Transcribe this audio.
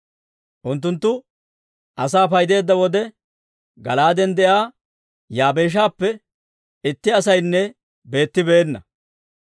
Unttunttu asaa paydeedda wode, Gala'aaden de'iyaa Yaabeeshappe itti asaynne beettibeenna.